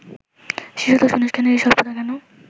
শিশুতোষ অনুষ্ঠানের এই স্বল্পতা কেন